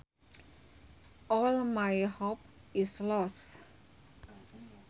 All my hope is lost